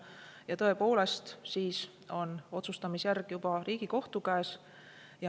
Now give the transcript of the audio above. Ja tõepoolest, siis on otsustamisjärg juba Riigikohtu käes.